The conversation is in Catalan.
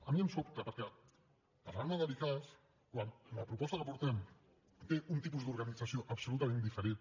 a mi em sobta perquè parlar me de l’icass quan la proposta que portem té un tipus d’organització absolutament diferent